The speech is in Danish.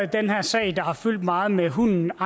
den her sag der har fyldt meget med hunden